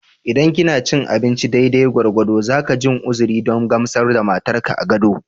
Idan kina cin abinci daidai gwargwado, zaka jin uzuri don gamsar da matar ka a gado